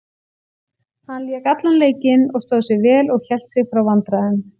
Hann lék allan leikinn og stóð sig vel og hélt sig frá vandræðum.